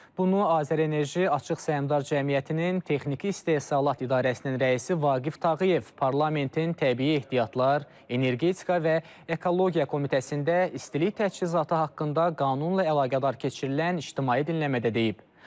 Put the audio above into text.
Bunu Azərenerji Açıq Səhmdar Cəmiyyətinin texniki istehsalat idarəsinin rəisi Vaqif Tağıyev parlamentin təbii ehtiyatlar, energetika və ekologiya komitəsində istilik təchizatı haqqında qanunla əlaqədar keçirilən ictimai dinləmədə deyib.